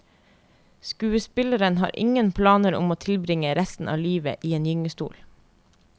Skuespilleren har ingen planer om å tilbringe resten av livet i gyngestol.